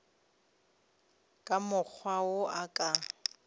ka mokgwa wo a ka